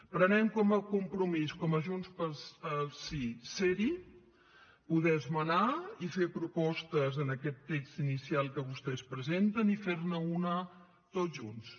prenem com a compromís com a junts pel sí ser hi poder esmenar i fer propostes a aquest text inicial que vostès presenten i fer ne una tots junts